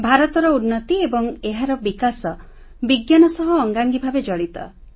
ଭାରତର ଉନ୍ନତି ଏବଂ ଏହାର ବିକାଶ ବିଜ୍ଞାନ ସହ ଅଙ୍ଗାଙ୍ଗୀ ଭାବେ ଜଡ଼ିତ